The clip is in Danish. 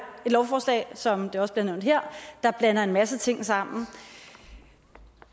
et lovforslag som det også blev nævnt her blander en masse ting sammen